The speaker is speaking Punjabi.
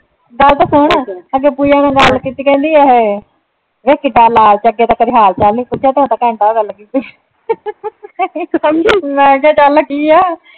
ਗੱਲ ਤੇ ਸੁਣ, ਅੱਗੇ ਪੂਜਾ ਨਾਲ ਗੱਲ ਕੀਤੀ ਅਖ਼ੇ। ਵੇਖ ਕਿੱਡਾ ਲਾਲਚ ਆ ਅੱਗੇ ਤਾਂ ਕਦੇ ਹਾਲ ਚਾਲ ਨਈਂ ਪੁੱਛਿਆ ਤੇ ਘੰਟਾ ਘੰਟਾ ਹੋ ਗਿਆ ਲੱਗੀ ਨੂੰ ਮੈਂ ਕਿਹਾ ਚੱਲ ਕੀ ਏ।